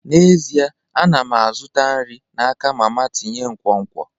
N'ezie, ana m azụta nri n'aka mama tinye nkwonkwo.